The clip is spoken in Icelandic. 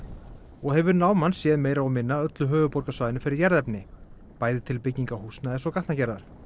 og hefur náman séð meira og minna öllu höfuðborgarsvæðinu fyrir jarðefni bæði til bygginga húsnæðis og gatnagerðar